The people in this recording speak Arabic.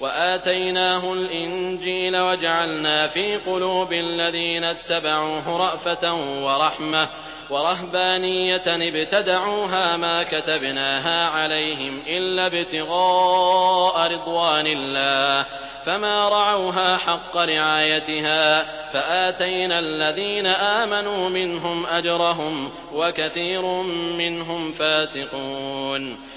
وَآتَيْنَاهُ الْإِنجِيلَ وَجَعَلْنَا فِي قُلُوبِ الَّذِينَ اتَّبَعُوهُ رَأْفَةً وَرَحْمَةً وَرَهْبَانِيَّةً ابْتَدَعُوهَا مَا كَتَبْنَاهَا عَلَيْهِمْ إِلَّا ابْتِغَاءَ رِضْوَانِ اللَّهِ فَمَا رَعَوْهَا حَقَّ رِعَايَتِهَا ۖ فَآتَيْنَا الَّذِينَ آمَنُوا مِنْهُمْ أَجْرَهُمْ ۖ وَكَثِيرٌ مِّنْهُمْ فَاسِقُونَ